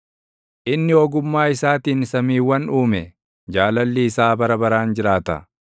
inni ogummaa isaatiin samiiwwan uume; Jaalalli isaa bara baraan jiraata.